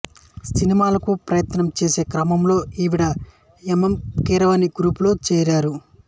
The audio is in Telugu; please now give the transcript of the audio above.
సినిమాలకు ప్రయత్నం చేసే క్రమంలో ఈవిడ ఎం ఎం కీరవాణి గ్రూపులో చేరారు